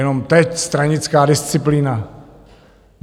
Jenom teď stranická disciplína.